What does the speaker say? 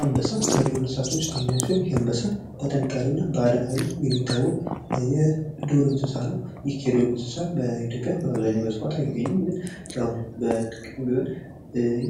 አንበሳ ከዱር እንስሳቶች ውስጥ አንደኛው ሲሆን ይህ አንበሳ በጥንካሬው እና በአደን ሀይሉ የሚታወቅ የዱር እንስሳ ነው ። ይህ የዱር እንስሳ በኢትዮጵያ በአብዛኛው በስፋት አይገኝም ግን የው በጥቂቱም ቢሆን